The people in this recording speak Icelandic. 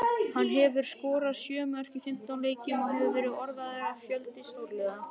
Hann hefur skorað sjö mörk í fimmtán leikjum og hefur verið orðaður við fjölda stórliða.